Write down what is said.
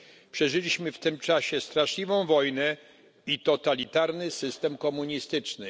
Przeżyliśmy w tym czasie straszliwą wojnę i totalitarny system komunistyczny.